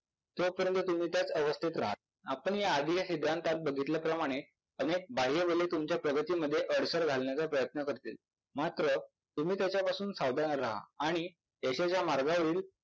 तोपर्यंत तुम्ही त्याच अवस्थेत राहाल. आपण याआधी या सिद्धांतात पाहिल्याप्रमाणे अनेक बाह्यबले तुमच्या प्रगतीमध्ये अडसर घालण्याचा प्रयत्न करतील मात्र तुम्ही त्याच्यापासून सावधान राहा आणि यशाच्या मार्गावरील